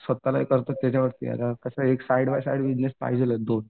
स्वतःला हे करतो त्याच्यावरती आहे. एक साईड बाय साईड बिजनेस पाहिजेतच दोन.